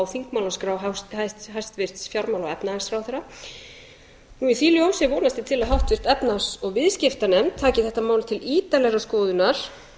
þingmálaskrá hæstvirts fjármála og efnahagsráðherra og í því ljósi vonast ég til að háttvirt efnahags og viðskiptanefnd taki þetta mál til ítarlegrar skoðunar